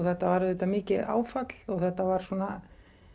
þetta var auðvitað mikið áfall og þetta var svona